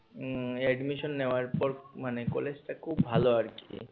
উম admission নেয়ার পর মানে কলেজটা খুব ভালো আরকি